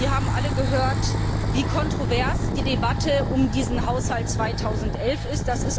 Sie haben alle gehört, wie kontrovers die Debatte um diesen Haushalt 2011 ist.